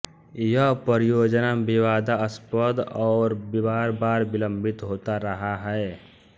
यह परियोजना विवादास्पद और बारबार विलंबित होता रहा है